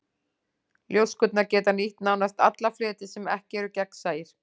Ljóskurnar geta nýtt nánast alla fleti sem ekki eru gegnsæir.